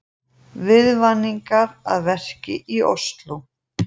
Viðvaningar að verki í Ósló